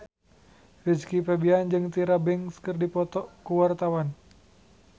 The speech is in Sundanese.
Rizky Febian jeung Tyra Banks keur dipoto ku wartawan